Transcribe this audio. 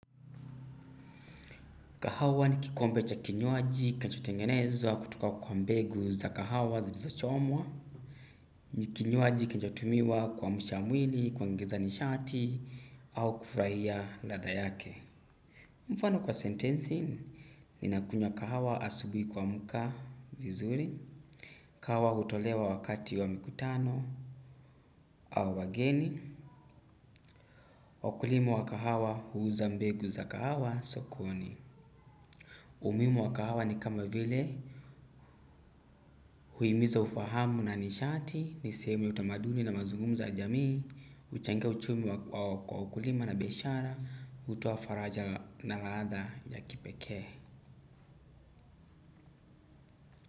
Kahawa ni kikombe cha kinywaji, kanchotengenezwa, kutoka kwa mbegu za kahawa za dizo choomwa, ni kinywaji kanchotumiwa kwa mshamwili, kwa ngeza nishati, au kufraia ladha yake. Mfano kwa sentenzi, ninakunywa kahawa asubui kuamuka vizuri, kahawa utolewa wakati wa mikutano, au wageni, wakulima wa kahawa huuza mbegu za kahawa sokoni. Umuimu wa kahawa ni kama vile huimiza ufahamu na nishati niseme utamaduni na mazungumza ya jamii, uchangia uchumi kwa ukulima na biashara, hutoafaraja na laadha ya kipekee.